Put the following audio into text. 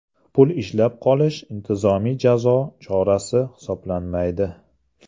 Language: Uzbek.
Pul ushlab qolish intizomiy jazo chorasi hisoblanmaydi.